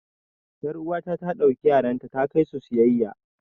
yar'uwata ta ɗauki yaranta ta kai su siyayya